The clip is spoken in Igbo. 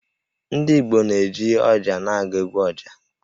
Ndị Igbo na-eji ọjà na-agụ 'egwu ọjà'.